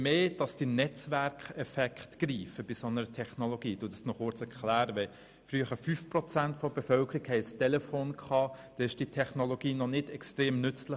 Als nur 5 Prozent der Bevölkerung über ein Telefon verfügte, war diese Technologie noch nicht sehr nützlich.